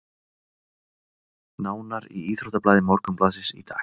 Nánar í íþróttablaði Morgunblaðsins í dag